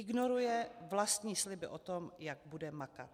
Ignoruje vlastní sliby o tom, jak bude makat.